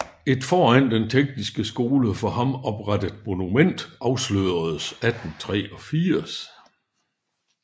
Et foran den tekniske skole for ham oprettet monument afsløredes 1883